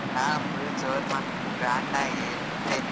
ಹಾ full ಜೋರ್ ಮಾಡ್ತಿವಿ grand ಆಗಿ ಇಲ್ಲೇ.